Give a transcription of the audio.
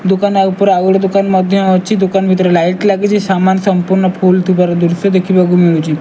ଦୁକାନ ଆଉ ଉପର ଆଉ ଗୋଟେ ଦୁକାନ ମଧ୍ଯ ଅଛି। ଦୁକାନ ଭିତରେ ଲାଇଟ ଲାଗିଚି ସାମାନ ସମ୍ପୂର୍ଣ୍ଣ ଫୁଲ୍ ଥିବାର ଦୃଶ୍ଯ ଦେଖିବାକୁ ମିଳୁଚି।